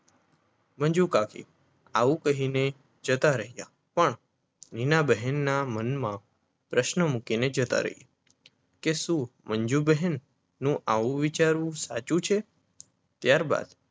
મંજુકાકી આવું કહીને જતા રહ્યા પણ મીનાબહેનના મનમાં પ્રશ્ન મૂકીને જતા રહ્યા કે શું મંજુ બહેનનો આવું વિચારવું સાચું છે ત્યારબાદ